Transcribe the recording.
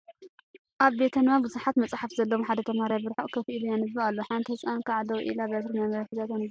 ኣብ ቤተ ንባብ ብዙሓት መፀሓፍቲ ዘለውዎ ሐደ ተምሃራይ ብርሑቅ ኮፍ ኢሉ የንብብ እሎ ሓንቲ ህፃን ከዓ ደው ኢላ በትሪ መንበቢ ሒዛ ተንብብ እላ